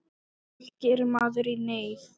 Allt gerir maður í neyð.